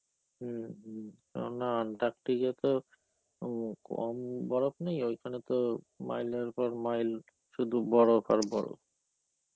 হম, কেননা Antarctica তো হম কম বরফ নেই ওইখানে তো মাইলের পর মাইল শুধু বরফ আর বরফ.